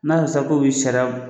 N'a kɛ sa k'u bɛ sariya